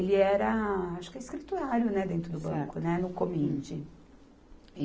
era, acho que é escrituário, né, dentro do banco, né, no Comind.